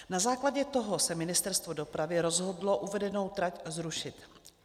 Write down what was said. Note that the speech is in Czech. Na základě toho se Ministerstvo dopravy rozhodlo uvedenou trať zrušit.